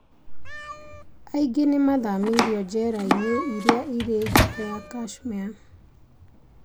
Aingĩ nĩ mathamĩririo njera-inĩ iria irĩ nja ya Kashmir.